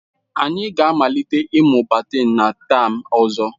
Anyị ga-amalite ịmụ badimintin na tam ọzọ.